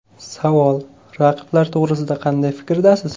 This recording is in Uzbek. Savol: Raqiblar to‘g‘risida qanday fikrdasiz?